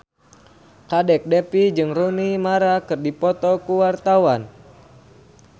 Kadek Devi jeung Rooney Mara keur dipoto ku wartawan